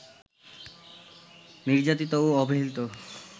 নির্যাতিত ও অবহেলিত